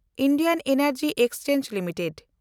Indian energy exchange limited